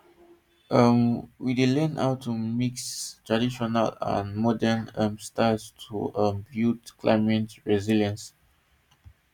um we fdey learn how to mix traditional and modern um styles to um build climate resilience